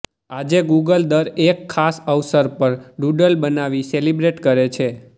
આજે ગૂગલ દર એક ખાસ અવસર પર ડૂડલ બનાવી સેલિબ્રેટ કરે છે